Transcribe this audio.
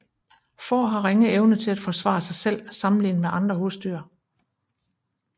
Får har ringe evne til at forsvare sig selv sammenlignet med andre husdyr